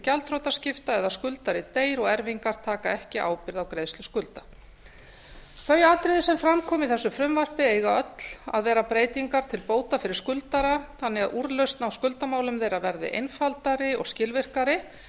gjaldþrotaskipta eða skuldari deyr og erfingjar taka ekki ábyrgð á greiðslu skulda þau atriði sem fram koma í þessu frumvarpi eiga öll að vera breytingar til bóta fyrir skuldara þannig að úrlausn á skuldamálum þeirra verði einfaldari og skilvirkari